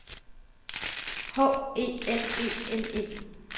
H E L E N E